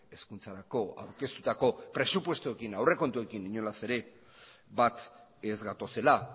hezkuntzarako aurkeztutako presupuestoekin aurrekontuekin inola ez bat ez gatozela